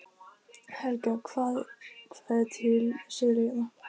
Helga: Hvað er til sölu hérna?